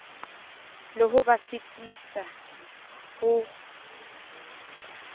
le ho ba sitisa ho